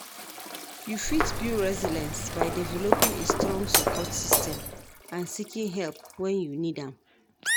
You fit build resilience by developing a strong support system and seeking help when you need am.